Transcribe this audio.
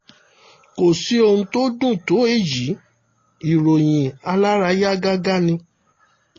kò sí ohun tó dùn tó èyí ìròyìn alárayá gágá ni